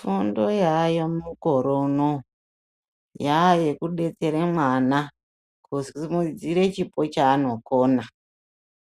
Hondo yaayo mukore uno yaayeku detsere mwana kusimudzire chipo chaanokona